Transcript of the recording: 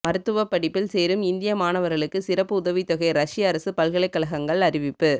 மருத்துவப் படிப்பில் சேரும் இந்திய மாணவர்களுக்கு சிறப்பு உதவித் தொகை ரஷ்ய அரசு பல்கலைக்கழகங்கள் அறிவிப்பு